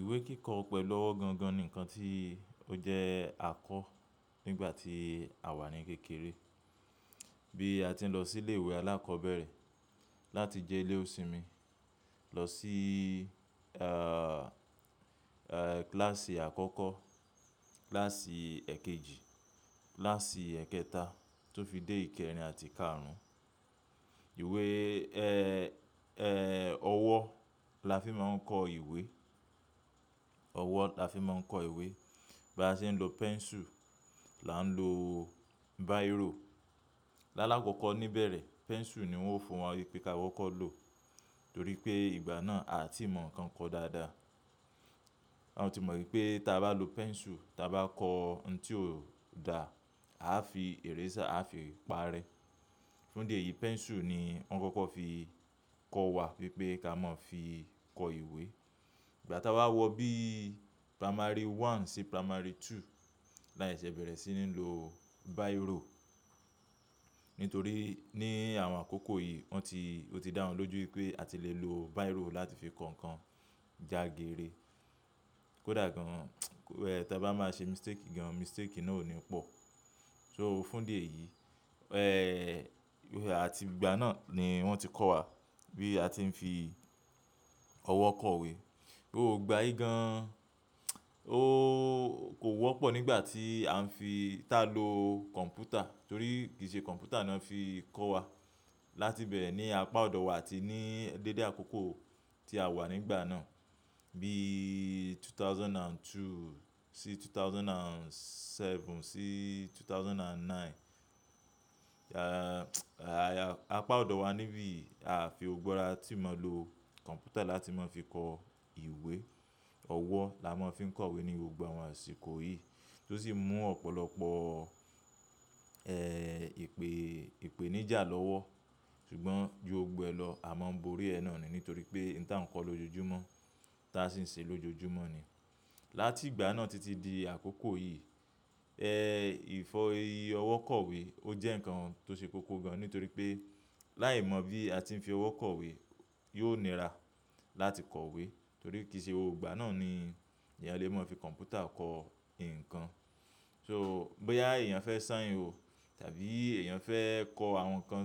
Ìwé kíkọ pẹ̀lú ọwọ́ gan gan ni ǹkan tí ó jẹ́ a kọ̀ nígbà tí àwa ní kékeré. Bí a tí ń lọ sí ilé ìwé alákọ̀ọ́bẹ̀rẹ̀ láti jẹ́lé òsinmin, lọ síí, kílàsì àkọ́kọ́, kílàsì èkejì, kílàsì èkẹta tó fi dé ìkẹrin àti kárùn-ún. Ìwé, ẹ́, ẹ́, ọwọ́ la fi máa ń kọ ìwé. Ọwọ́ la fi máa ń kọ ìwé. Bí a ṣe ń lo pẹ́ńsù, là ń lo báyirò. Lálákọ̀ọ́kọ́ níbẹ̀rẹ̀ pẹ́ńsù ni wón fún wa wípé ká kokó lo torí pé ìgbà náà a tí ì mọ̀ ǹkan ko dáadáa. A ti mọ̀ wípé tí a bá lo pẹ́ńsù tí a bá kọ́ ǹ tí ò da, a á fi eraser a fi pa rẹ. Fún idi eyìí pẹ́ńsù ni wọn kọ́kọ́ fi kọ wa wípé ká mọ́ fi kọ ìwé. Ìgbà tá a wa wo bí i primary one sí primary two, là seṣẹ́ bẹ̀rẹ̀ sí ní lo báyirò. Nítorí ní àwọn àkókò yìí wọn ti-- ó ti dáhùn lójú wípé a ti le lo báyirò láti fi kọ ǹkan jagere. Kódà gan-an, tí a bá máa ṣe mistake gan-an, mistake náà ò ní pọ̀. So fún díẹ̀ yìí, àti ìgbà náà ni wón ti kọ́ wa bí a ti ń fi ọwọ́ kọ ìwé. Ó gbayí gan-an, kò wọ́pọ̀ nígbà tí a ń fi í, ta lo kọ̀ǹpútà torí kì í ṣe kọ̀ǹpútà náà fi kọ́ wa. Láti bẹ̀re ni apá ọ̀dọ̀ wa atí ní dédé àkókò tí a wà nígbà náà bí 2002 sí 2007 sí 2009. Apá ọ̀dọ̀ wa níbí a fi gbogbo ara tí mọ̀ lo kọ̀ǹpútà láti máa fi kọ ìwé. Ọwọ́ la máa ń fi kọ ìwé ní gbogbo àwọn àsìkò yìí tí ó sì mú ọ̀pọ̀lọpọ̀, ìpè, ìpèníjà lọ́wọ́. Ṣùgbọ́n ju gbogbo e lọ à máa ń borí ẹ nàa ní nítorí pé ǹ ta ń kọ lójoojúmọ́, ta sì ń ṣe lójoojúmọ́ ní. Láti ìgbà náà títí di àkókò yìí, ìfi ọwọ́ kọ ìwé ó jẹ́ ǹkan tó ṣe kókó gan-an. Nítorí pé láì mọ bí a tí ń fi ọwọ́ kọ iwé yóò nira láti kọ ìwé torí kì í ṣe gbogbo igbà náà ni èèyàn lè mọ̀ fi kọ̀ǹpútà kọ ǹkan. Soo bóyá èèyàn fẹ́ sáin òò tàbí èèyàn fẹ́ kọ àwọn ǹkan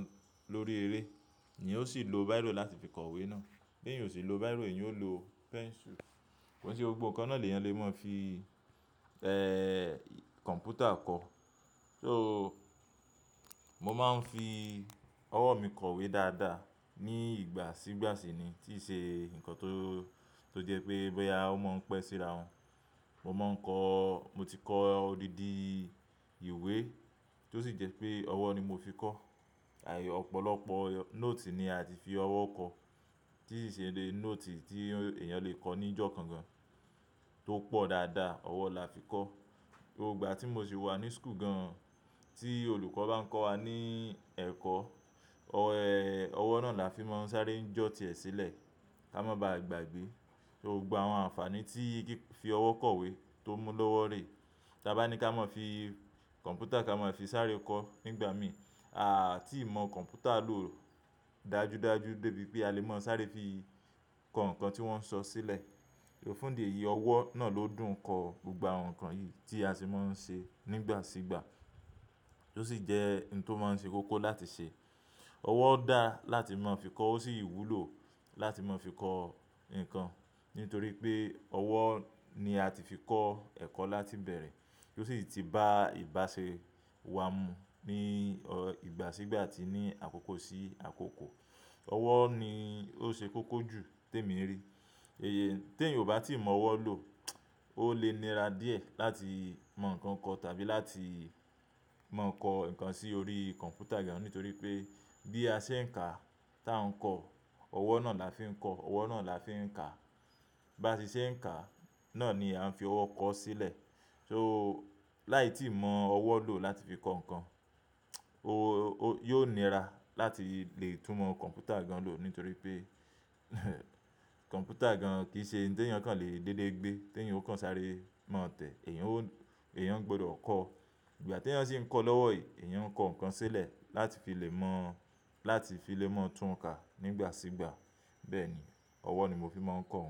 lórí eré ni eyan o sì lo báyirò láti fi kọ ìwé náà. Bí èèyàn o si lo báyirò èèyàn ó lo pẹ́ńsù. Ko n ṣe gbogbo ǹkan náà lèyàn lè mọ̀ fi, kọ̀ǹpútà kọ. So mo máa ń fi ọwọ́ mi kọ ìwé dáadáa. Ni ìgbà sígbà ṣi ni tí ṣe ǹkan tó, tó jẹ́ pé bóyá ó mọ̀ ń pẹ́ síra won. Mo máa ń kọ-- mo ti kọ odidi ìwé tí ó sì jẹ́ pé ọwọ́ ni mo fi kọ. Opọ̀lọpọ̀ nóòtì ni a tí fi ọwọ́ kọ, tí i se nóòtì tí èèyàn lè kọ ní ìjọ̀kan gan-an, tó pọ̀ dáadáa ọwọ́ la fi kọ. Gbogbo igbà tí mo sì wà ní school gan-an, tí olùkọ́ bá ń kọ́ wa ní ẹ̀kọ́, ọwọ́ náà la fi máa ń sáré jóotí ẹ sílẹ̀ ká má bá gbàgbé. Gbogbo awọn àǹfààní tí fifi ọwọ́ kọ ìwé tó mú lọ́wọ́ rè. Tí a bá ní ká mọ̀ fi kọ̀ǹpútà ká máa fi sáré kọ nígbà mí, a a tí ì mọ kọ̀ǹpútà lò dájúdájú débi pé a lè mọ̀ sáré fi kọ ǹkan tí wón ń sọ sílẹ̀. Fún idi eyìí ọwọ́ náà ló dùn kọ gbogbo àwọn ǹkan yìí tí a se máa ń ṣe nígbà sígbà tí ó sì jẹ́ ǹ tó máa ń ṣe kókó láti ṣe. Ọwọ́ dá láti máa fi kọ, ó sì wúlò láti máa fi kọ ǹkan. Nítorí pé ọwọ́ ni a ti fi kọ ẹ̀kọ́ láti bẹ̀rẹ̀ tí ó sì ti bá ìbáṣe wa mu ní ìgbà sígbà tí ní àkókò sí àkókò. Ọwọ́ ni ó ṣe kókó jù tèmi rí. Ti èyan o bá tí ì mọ ọwọ́ lò ó lè nira díẹ̀ láti mọ ǹkan kọ tàbí láti mọ̀ kọ ǹkan sí orí kọ̀ǹpútà gan-an. Nítorí pé bí a ṣe ń kà tí a ń kọ, ọwọ́ náà la fi ń kọ, ọwọ́ náà la fi ń kà. Bá ti ṣe ń kà náà ni a ń fi ọwọ́ kọ sílẹ̀. Soo láì tí ì mọ ọwọ́ lò láti fi kọ ǹkan, yóò nira láti lè túmọ̀ kọ̀ǹpútà gan lò. Nítorí pé kọ̀ǹpútà gan kì í ṣe ǹ ti ẹ̀yàn kàn lè dédé gbé. Tí èèyàn o kan sáré mọ̀ tẹ̀, èèyàn ó, èèyàn gbọdọ̀ kọ. Ìgbà tí èèyàn sì ń kọ lọ́wọ́ yii, èèyàn kọ ǹkan sílẹ̀ láti fi lè mọ̀, láti fi lè mọ̀ tún kà nígbà sígbà. Bẹ́ẹ̀ ni ọwọ́ ni mo fi máa ń kọ oun.